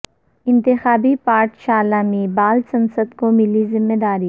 انتخابی پا ٹھ شالہ میں با ل سنسد کو ملی ذمہ داری